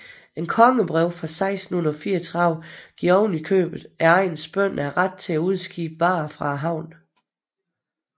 Et kongebrev fra 1634 giver oven i købet egnens bønder ret til at udskibe varer fra havnen